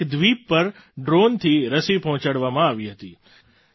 ત્યાં એક દ્વીપ પર ડ્રૉનથી રસી પહોંચાડવામાં આવી હતી